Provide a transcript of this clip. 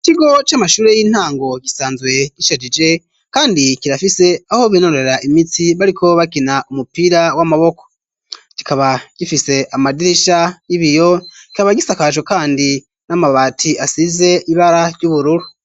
Ikigo c'amashure y'intango gisanzwe gishajije kandi kirafise aho binonorera imitsi bariko bakina umupira w'amaboko kikaba gifise amadirisha y'ibiyo kikaba gisakajwe kandi n'amabati asize ibara ry'ubururu.